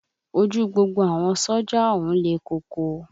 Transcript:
Ojú gbogbo àwọn sójà ọ̀hún le koko